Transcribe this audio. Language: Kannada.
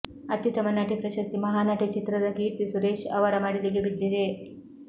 ಅತ್ಯುತ್ತಮ ನಟಿ ಪ್ರಶಸ್ತಿ ಮಹಾನಟಿ ಚಿತ್ರದ ಕೀರ್ತಿ ಸುರೇಶ್ ಅವರ ಮಡಿಲಿಗೆ ಬಿದ್ದಿದೆ